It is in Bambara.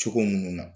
Cogo minnu na